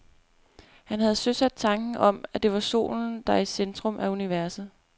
Han havde søsat tanken om, at det er solen, der er i centrum af universet.